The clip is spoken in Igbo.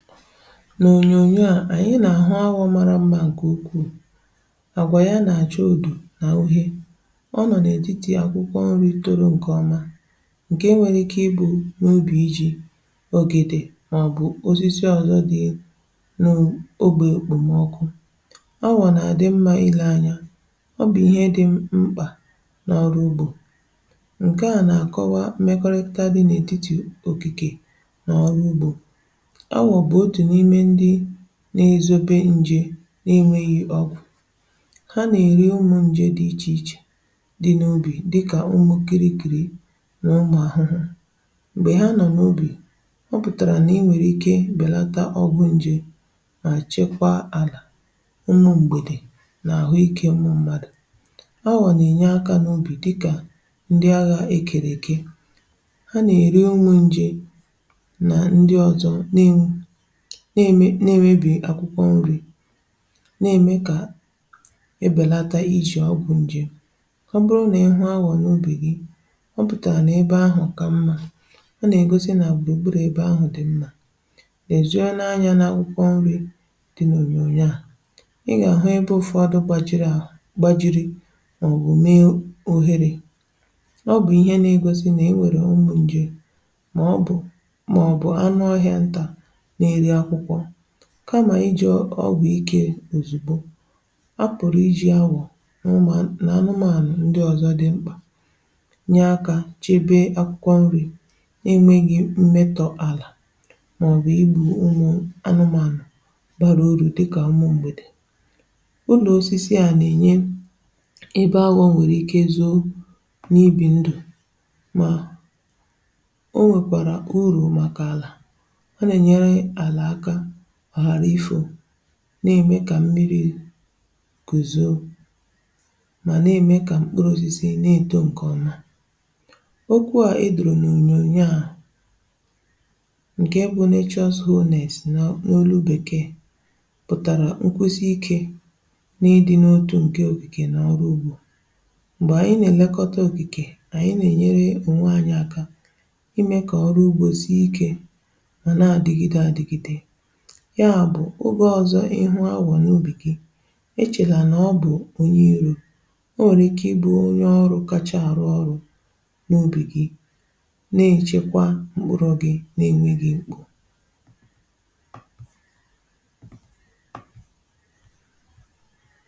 N’ònyònyo a, ànyị nà-àhụ aghọ̇ mara mmȧ, gùkù àgwà ya nà àcha ùdù nà uhè. Ọ nọ̀ n’ètitì akwụkwọ nri̇ tòrò ǹkè ọma, um ǹkè enwèrè ike ibù n’ubì iji̇ ogèdè màọbụ̀ osisi ọzọ dị̀ n’ogbè okpòmọkụ. Ọ wà nà-àdị mmȧ ilė anya — ọ bụ̀ ihe dị mkpà n’ọrụ ugbȯ. Ǹkè a nà-àkọwa mekọrịkado dị n’ètitì òkìkè n’ọrụ ugbȯ, n’izobe nje n’inwėghị̀ ọgwụ̀. Ha nà-èri ụmụ̀ nje dị̀ iche iche dị̀ n’ubì, dịkà ụmụ kirigirì n’ụmụ̀ àhụhụ̀. M̀gbè ha nọ n’ubì, ọ pụ̀tàrà nà i nwèrè ike bèlata ọgwụ̀ nje, um mà chekwa àlà nnu, m̀gbèdè, nà àhụ́ ikė ụmụ̀ mmadụ̀.A wà nà-ènye akà n’ubì dịkà ndị aghà ekèrè ike. Ha nà-èri ụmụ̀ nje nà ndị ọzọ̀ na-enwu, na-eme na-emebi akwụkwọ nri̇, um na-eme ka ebelata iji ọgwụ̀ njem. Ọ bụrụ na ihu ahụ nyere ubì gị, ọ pụ̀tà na ebe ahụ ka mmȧ ọ na-egosi nà òkpùrù ebe ahụ dị̀ nnà, nà-ezuo n’anụ̀ akwụkwọ nri̇ dị. N’ònyònyo à, ị gà-àhụ um ịbụ̇ ọdụ gbàjiri à gbàjiri, màọbụ̀ mee ohere; ọ bụ̀ ihe na-egosi na-ewère ọgwụ̀ njè, màọbụ̀ anụ ọhịȧ ntà. Kama iji ọgwụ̀ ike, òzùgbo a pụ̀rụ̀ iji awọ̀ n’ụmụ anụmanụ̀ ndị ọzọ dị mkpà, nye akà chebe akwụkwọ nri̇, inweghị̇ mmetọ̇ àlà màọbụ̀ ibu̇ ụmụ anụmanụ̀ bara oru, dịkà ụmụ m̀gbèdè. Ụlọ̀ osisi a nà-ènye ebe awọ̇ nwèrè ike zoo, n’ibì ndù, mà na-eme ka mmiri̇ guzo, um ma na-eme ka mkpụrụ osisi na-eto nke ọma. Okwu a edoro n’ònyònyo a, bụ̀ nà ichọ zụghị ọ na-esi n’olu bekee, pụtara nkwụzi ike na ịdị n’otu nke okìkè n’ọrụ ugbȯ. M̀gbè ànyị na-elekọta okìkè ànyị, ànyị na-enyere onwe anyị aka. Ọzọ̇, um ịhụ̇ agwà n’obi gị̇, echela nà ọ bụ̀ onye irȯ o nwèrè ike ịbụ̇ onye ọrụ̇ kàchà arụ̇ ọrụ̇ n’obi gị̇, nà-èchekwa mkpụrụ̇ gị̇ n’enweghị̇ mkpù.